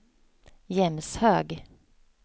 Jämshög